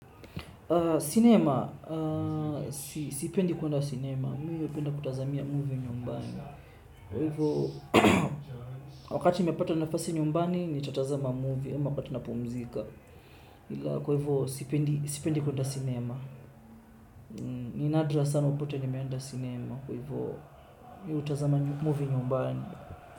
Sinema. Sipendi kuenda sinema. Mi hupenda kutazamia movie nyumbani. Kwa hivyo, wakati nimepata nafasi nyumbani, nitatazama movie. Ama kapati na pumzika. Kwa hivyo, sipendi kuenda sinema. Ni nadra sana upate nimeenda sinema. Kwa hivyo, mi utazama movie nyumbani.